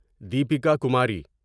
Deepika Kumari